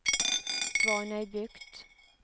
Svanøybukt